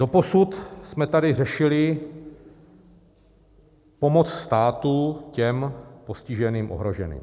Doposud jsme tady řešili pomoc státu těm postiženým, ohroženým.